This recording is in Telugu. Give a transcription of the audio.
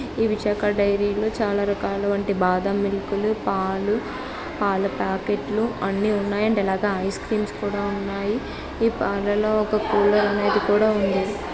ఈ విశాఖ డైరీలో చాలా రికార్డు వంటి బాధ మీకు పాలు ప్యాకెట్లు అన్నీ ఉన్నాయి అండ్ ఎలాగా ఐస్ క్రీమ్స్ కూడా ఉన్నాయి పాలలో ఒక కూలర్ అనేది కూడా ఉంది.